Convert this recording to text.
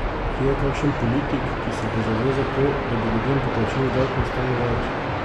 Kje je kakšen politik, ki se bo zavzel za to, da bi ljudem po plačilu davkov ostalo več?